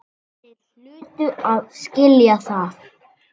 Þeir hlutu að skilja það.